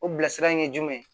O bilasirali ye jumɛn ye